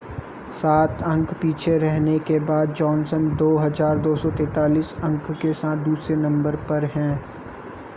सात अंक पीछे रहने के बाद जॉनसन 2,243 अंक के साथ दूसरे नंबर पर है